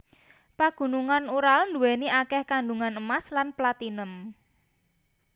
Pagunungan Ural nduweni akeh kandungan emas lan platinum